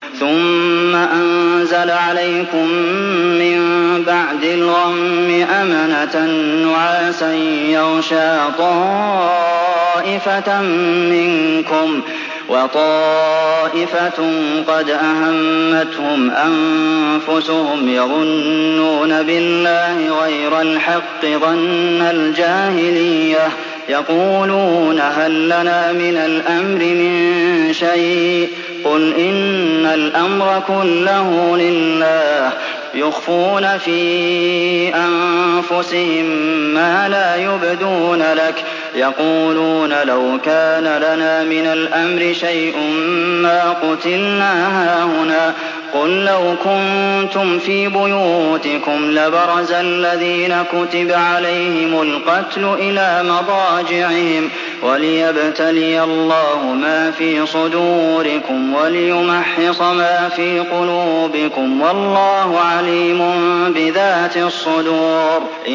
ثُمَّ أَنزَلَ عَلَيْكُم مِّن بَعْدِ الْغَمِّ أَمَنَةً نُّعَاسًا يَغْشَىٰ طَائِفَةً مِّنكُمْ ۖ وَطَائِفَةٌ قَدْ أَهَمَّتْهُمْ أَنفُسُهُمْ يَظُنُّونَ بِاللَّهِ غَيْرَ الْحَقِّ ظَنَّ الْجَاهِلِيَّةِ ۖ يَقُولُونَ هَل لَّنَا مِنَ الْأَمْرِ مِن شَيْءٍ ۗ قُلْ إِنَّ الْأَمْرَ كُلَّهُ لِلَّهِ ۗ يُخْفُونَ فِي أَنفُسِهِم مَّا لَا يُبْدُونَ لَكَ ۖ يَقُولُونَ لَوْ كَانَ لَنَا مِنَ الْأَمْرِ شَيْءٌ مَّا قُتِلْنَا هَاهُنَا ۗ قُل لَّوْ كُنتُمْ فِي بُيُوتِكُمْ لَبَرَزَ الَّذِينَ كُتِبَ عَلَيْهِمُ الْقَتْلُ إِلَىٰ مَضَاجِعِهِمْ ۖ وَلِيَبْتَلِيَ اللَّهُ مَا فِي صُدُورِكُمْ وَلِيُمَحِّصَ مَا فِي قُلُوبِكُمْ ۗ وَاللَّهُ عَلِيمٌ بِذَاتِ الصُّدُورِ